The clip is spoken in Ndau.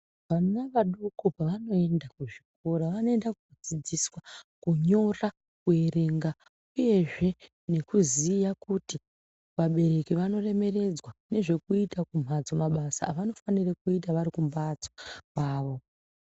Vana vadoko pavanoenda kuzvikora vanoenda kodzidziswa kunyora kuerenga uyezve nekuziya kuti vabereki vanoremekedzwa nezveekuita mabasa avanofanire kuita vari kumbatso kwavo.